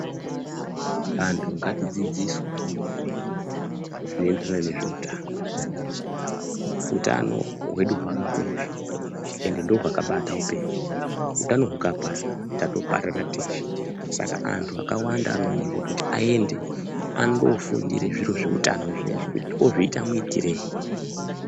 Anthu ngatidzidziswe zvinoenderana neutano, utano hwedu hwakakosha ende ndohwakabata upenyu, utano hukaparara tatoparara teshe saka anthu akawanda anodiwa kuti aende andofundira zviro zveutano zvinezvi, kuti tozviita muitirei.